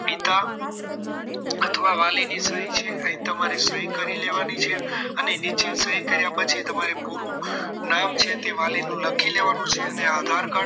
પિતા અથવા વાલીની સહી છે અહીં તમારે સહી કરી લેવાની છે અને નીચે સહી કર્યા પછી તમારે પૂરું નામ છે તે વાલી નું લખી લેવાનું છે અને આધાર કાર્ડ